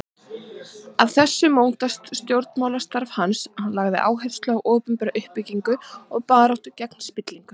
Af þessu mótaðist stjórnmálastarf hans, hann lagði áherslu á opinbera uppbyggingu og baráttu gegn spillingu.